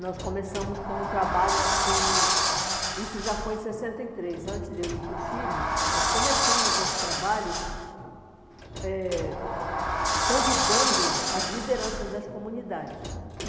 Nós começamos com um trabalho assim, isso já foi em sessenta e três, antes de eu ir para o Chile, nós começamos esse trabalho eh convidando as lideranças das comunidades.